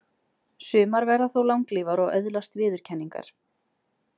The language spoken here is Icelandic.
Sumar verða þó langlífar og öðlast viðurkenningar.